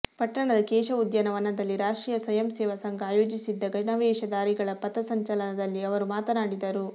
ಪಟ್ಟಣದ ಕೇಶವ ಉದ್ಯಾನ ವನದಲ್ಲಿ ರಾಷ್ಟ್ರೀಯ ಸ್ವಯಂ ಸೇವಾ ಸಂಘ ಆಯೋಜಿಸಿದ್ದ ಗಣವೇಷ ಧಾರಿಗಳ ಪಥ ಸಂಚಲನದಲ್ಲಿ ಅವರು ಮಾತನಾಡಿದರು